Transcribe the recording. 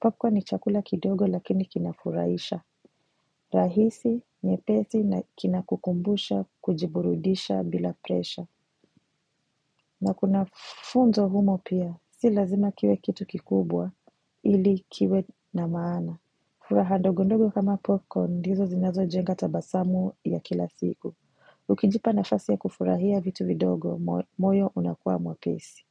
Popcorn ni chakula kidogo lakini kina furaisha. Rahisi, nyepeti na kina kukumbusha, kujiburudisha bila presha. Nakuna funzo humo pia, si lazima kiwe kitu kikubwa, ili kiwe na maana. Furaha ndogo ndogo kama popcorn, ndizo zinazo jenga tabasamu ya kila siku. Ukijipa nafasi ya kufurahia vitu vidogo moyo unakuwa mwepesi.